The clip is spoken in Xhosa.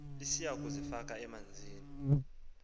lisiya kuzifaka emanzini